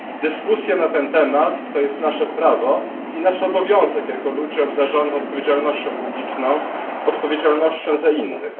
Dyskusja na ten temat to jest nasze prawo i nasz obowiązek jako ludzi obarczonych odpowiedzialnością publiczną, odpowiedzialnością za innych.